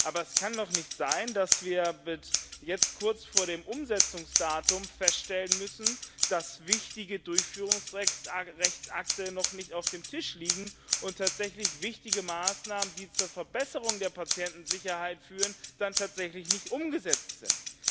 Aber es kann doch nicht sein, dass wir jetzt kurz vor dem Umsetzungsdatum feststellen müssen, dass wichtige Durchführungsrechtsakte noch nicht auf dem Tisch liegen und wichtige Maßnahmen, die zur Verbesserung der Patientensicherheit führen, dann tatsächlich nicht umgesetzt sind.